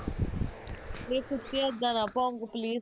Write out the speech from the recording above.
ਨਹੀਂ ਸੁੱਖੇ ਇੱਦਾ ਨਾ ਭੋਂਕ please